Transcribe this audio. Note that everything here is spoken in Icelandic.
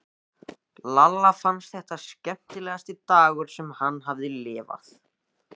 Lalla fannst þetta skemmtilegasti dagur sem hann hafði lifað.